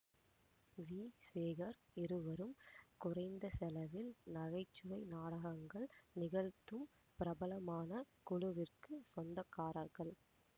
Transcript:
we Sekar இருவரும் குறைந்தசெலவில் நகைச்சுவை நாடகங்கள் நிகழ்த்தும் பிரபலமான குழுவிற்குச் சொந்தக்காரர்கள்